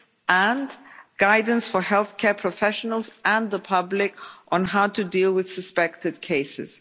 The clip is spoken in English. and guidance for healthcare professionals and the public on how to deal with suspected cases.